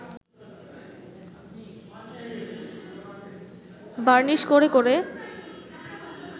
varnish করে করে